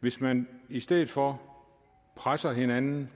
hvis man i stedet for presser hinanden